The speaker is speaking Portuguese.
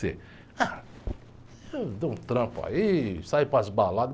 Ah, eu dou um trampo aí, saio para as baladas.